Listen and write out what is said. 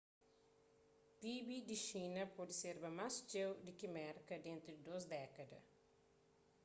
pib di xina pode serba más txeu di ki merka dentu di dôs dékada